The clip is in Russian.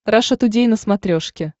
раша тудей на смотрешке